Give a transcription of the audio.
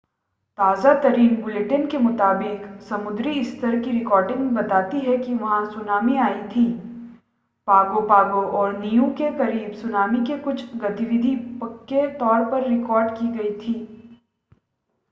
ताज़ा-तरीन bulletin के मुताबिक समुद्री स्तर की रीडिंग बताती है कि वहां सुनामी आई थी पागो पागो और नीयू के करीब सुनामी की कुछ गतिविधि पक्के तौर पर रिकॉर्ड की गई थी